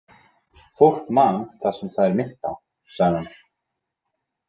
Fólk man það sem það er minnt á, sagði hann.